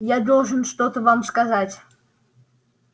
я должен вам что-то сказать